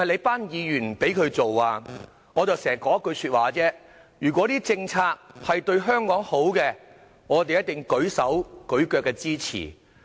"我經常只說一句話：如果政策對香港好，我們定會"舉手舉腳"支持。